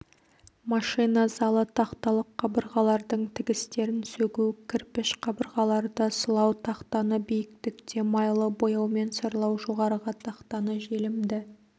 машина залы тақталық қабырғалардың тігістерін сөгу кірпіш қабырғаларды сылау тақтаны биіктікте майлы бояумен сырлау жоғарғы тақтаны желімді